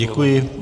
Děkuji.